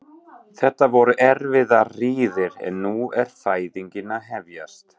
Þetta voru erfiðar hríðir en nú er fæðingin að hefjast.